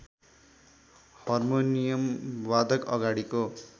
harmonium वादक अगाडिको